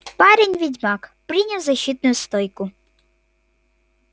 парень-ведьмак принял защитную стойку